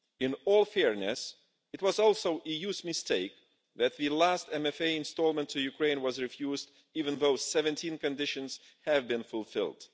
In all fairness, it was also the EU's mistake that the last MFA instalment to Ukraine was refused even though 17 conditions had been fulfilled.